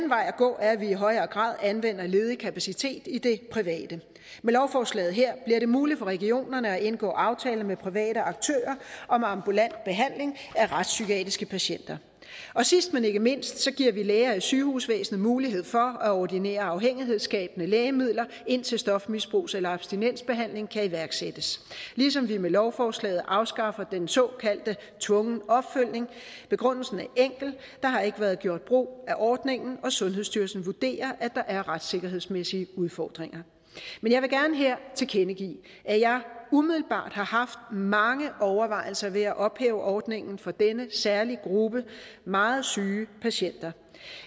vej at gå er at vi i højere grad anvender ledig kapacitet i det private med lovforslaget her bliver det muligt for regionerne at indgå aftaler med private aktører om ambulant behandling af retspsykiatriske patienter sidst men ikke mindst giver vi læger i sygehusvæsenet mulighed for at ordinere afhængighedsskabende lægemidler indtil stofmisbrugs eller abstinensbehandling kan iværksættes ligesom vi med lovforslaget afskaffer den såkaldte tvungne opfølgning begrundelsen er enkel der har ikke været gjort brug af ordningen og sundhedsstyrelsen vurderer at der er retssikkerhedsmæssige udfordringer men jeg vil gerne her tilkendegive at jeg umiddelbart har haft mange overvejelser ved at ophæve ordningen for denne særlige gruppe meget syge patienter